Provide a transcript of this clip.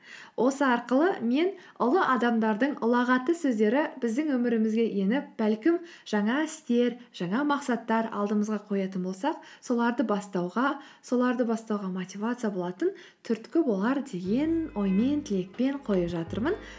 осы арқылы мен ұлы адамдардың ұлағатты сөздері біздің өмірімізге еніп бәлкім жаңа істер жаңа мақсаттар алдымызға қоятын болсақ соларды бастауға соларды бастауға мотивация болатын түрткі болар деген оймен тілекпен қойып жатырмын